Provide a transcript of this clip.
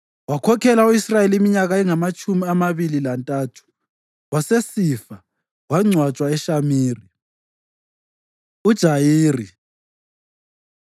Wakhokhela u-Israyeli iminyaka engamatshumi amabili lantathu; wasesifa, wangcwatshwa eShamiri. UJayiri